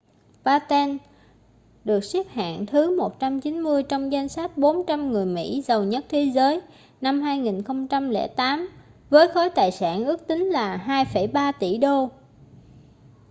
batten được xếp hạng thứ 190 trong danh sách 400 người mỹ giàu nhất thế giới năm 2008 với khối tài sản ước tính là 2,3 tỷ đô